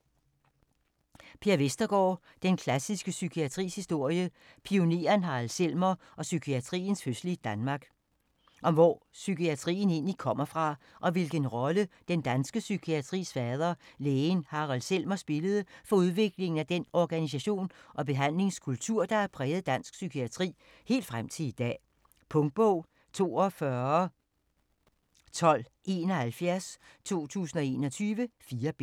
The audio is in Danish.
Vestergaard, Per: Den klassiske psykiatris historie: pioneren Harald Selmer og psykiatriens fødsel i Danmark Om hvor psykiatrien egentlig kommer fra, og hvilken rolle den danske psykiatris fader, lægen Harald Selmer, spillede for udviklingen af den organisation og behandlingskultur, der har præget dansk psykiatri helt frem til i dag. Punktbog 421271 2021. 4 bind.